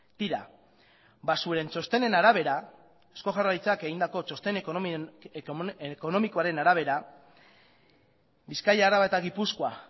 tira zuen txostenen arabera eusko jaurlaritzak egindako txosten ekonomikoaren arabera bizkaia araba eta gipuzkoa